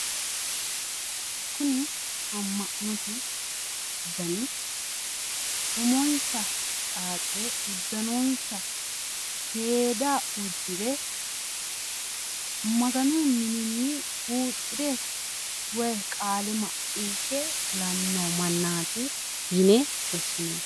Kuni amma'note dani umonsa xaaxire uddanonsa seeda uddire maganu mininni huuccire woyi qaale macciishshe fulanni noo mannaati yine woshshinanni.